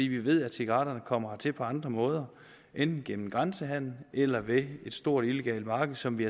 vi ved at cigaretterne kommer hertil på andre måder enten gennem grænsehandel eller via et stort illegalt marked som vi